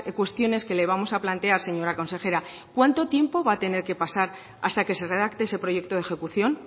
cuestiones que le vamos a plantear señora consejera cuánto tiempo va a tener que pasar hasta que se redacte ese proyecto de ejecución